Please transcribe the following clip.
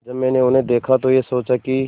जब मैंने उन्हें देखा तो ये सोचा कि